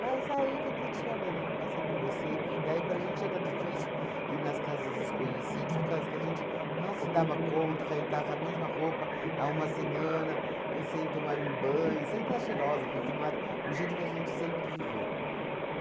Mas aí que eu estou te falando, eu não passei para você, que daí para gente era difícil ir nas casas dos conhecidos, porque causo que a gente não se dava conta que a gente tava com a mesma roupa há uma semana e sem tomar um banho, sem estar cheirosa, perfumada, o jeito que a gente sempre viveu.